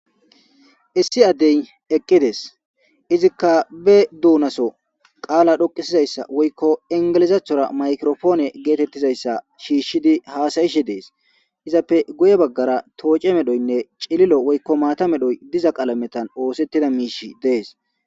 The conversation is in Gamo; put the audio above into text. Issi addey eqqides izikka be duunaso qaala dhoqisizayssa woykko ingelizaathora maykirofoone geetettizayssa shiishshidi haasayishi dees izappe goye baggara tooce medhoynne cililo woykko maata medhoy diza qalametan oosettida miish dees.